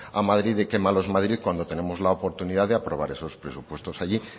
a madrid de qué malo es madrid cuando tenemos la oportunidad de aprobar esos presupuestos allí